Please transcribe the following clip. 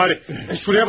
Şuraya bakın.